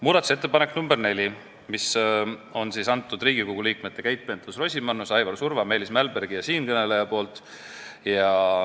Muudatusettepaneku nr 4 on teinud Riigikogu liikmed Keit Pentus-Rosimannus, Aivar Surva, Meelis Mälberg ja siinkõneleja.